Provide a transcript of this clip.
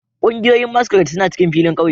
Kungiyoyin masquerade suna cikin filin kauye